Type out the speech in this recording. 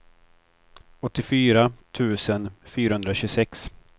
åttiofyra tusen fyrahundratjugosex